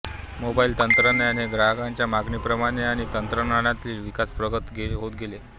mobile तंत्रज्ञान हे ग्राहकांच्या मागणीप्रमाणे आणि तंत्रज्ञानातील विकास प्रगत होत गेले